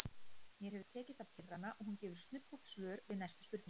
Mér hefur tekist að pirra hana og hún gefur snubbótt svör við næstu spurningum.